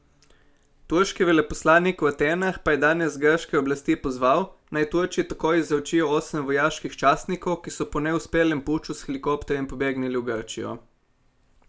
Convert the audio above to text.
Turški veleposlanik v Atenah pa je danes grške oblasti pozval, naj Turčiji takoj izročijo osem vojaških častnikov, ki so po neuspelem puču s helikopterjem prebegnili v Grčijo.